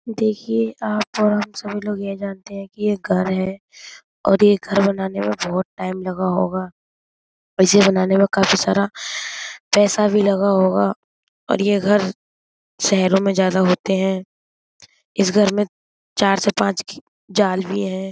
देखिये आप सभी लोग यह जानते हैं कि ये घर है और ये यह घर बनाने में बोहोत टाइम लगा होगा। इसे बनाने काफी सारा पैसा भी लगा होगा और यह घर शहरों में ज्यादा होते हैं। इस घर में चार से पांच खि जाल भी हैं।